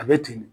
A bɛ ten de